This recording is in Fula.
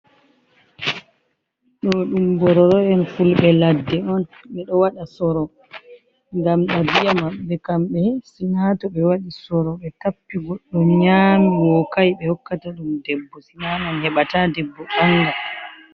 Ɗo ɗum mbororo'en fulɓe ladde on. Ɓeɗo waɗa soro ngam ɗabiya maɓɓe kamɓe sina to ɓe waɗi soro ɓe tappi goɗɗo nyami wokai ɓe hokkata ɗum debbo sinanon heɓata debbo ɓanga.